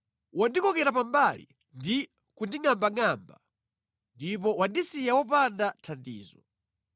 Wandikokera pambali ndi kundingʼambangʼamba, ndipo wandisiya wopanda thandizo.